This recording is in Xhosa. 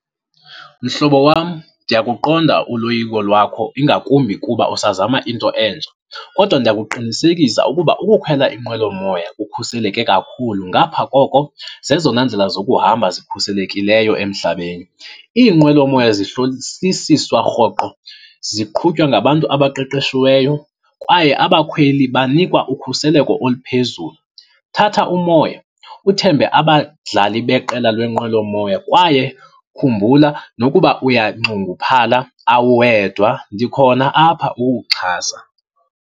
Mhlobo wam, ndiyakuqonda uloyiko lwakho, ingakumbi kuba usazama into entsha. Kodwa ndiyakuqinisekisa ukuba ukukhwela inqwelomoya kukhuseleke kakhulu, ngapha koko zezona ndlela zokuhamba zikhuselekileyo emhlabeni. Iinqwelomoya zihlolisisiswa rhoqo, ziqhutywa ngabantu abaqeqeshiweyo kwaye abakhweli banikwa ukhuseleko oluphezulu. Thatha umoya uthembe abadlali beqela lenqwelomoya kwaye khumbula nokuba uyanxunguphala awuwedwa, ndikhona apha ukukuxhasa.